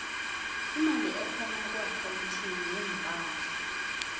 imali ehkona kuakhuwuntini yeempahla